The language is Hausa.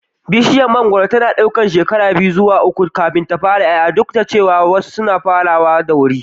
Bishiyar mangoro tana ɗaukar shekara biyu zuwa uku kafin ta fara ƴaƴa, duk da cewa wasu suna farawa da wuri.